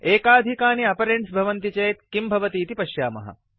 एकाधिकानि operands भवन्ति चेत् किं भवतीति पश्यामः